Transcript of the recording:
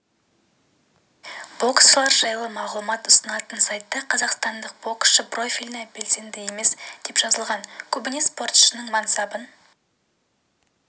боксшылар жайлы мағлұмат ұсынатын сайтта қазақстандық боксшы профиліне белсенді емес деп жазылған бұл көбіне спортшының мансабын